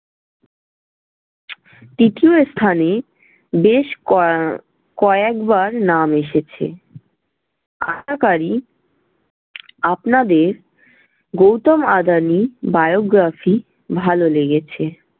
তৃতীয় স্থানে বেশ কোয়া~ এর কয়েকবার নাম এসেছে। আপনাদের গৌতম আদানির biography ভালো লেগেছে?